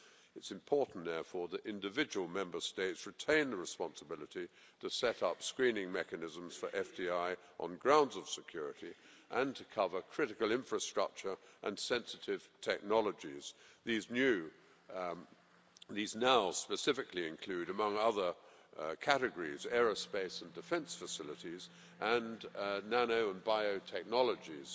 It's important, therefore, that individual Member States retain responsibility for setting up screening mechanisms for FDI on grounds of security and to cover critical infrastructure and sensitive technologies. These now specifically include, among other categories, aerospace and defence facilities and nano and bio technologies.